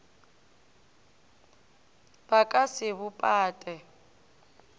ba ka se bo pate